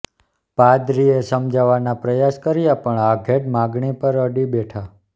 પાદરીએ સમજાવવાના પ્રયાસ કર્યા પણ આધેડ માગણી પર અડી બેઠા